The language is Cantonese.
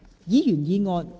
議員議案。